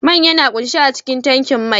Man yana kunshe a cikin tankin mai.